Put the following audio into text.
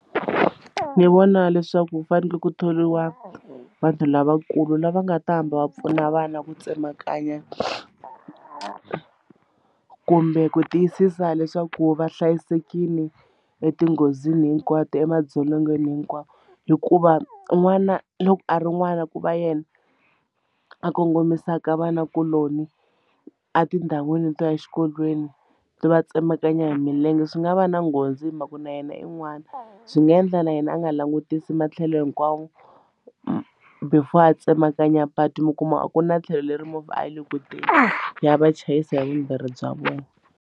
Ni vona leswaku ku fanekele ku thoriwa vanhu lavakulu lava nga ta hamba va pfuna vana ku tsemakanya kumbe ku tiyisisa leswaku va hlayisekile etinghozini hinkwato emadzolongweni hinkwawo hikuva n'wana loko a ri n'wana ku va yena a kongomisaka vanakuloni a tindhawini to ya exikolweni to va tsemakanya hi milenge swi nga va na nghozi hi mhaka na yena in'wana byi nga endla na yena a nga langutisi matlhelo hinkwawo before a tsemakanya patu mi kuma a ku na tlhelo leri movha a yi le ku teni ya va chayisa hi vumbirhi bya vona.